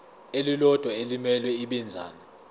elilodwa elimele ibinzana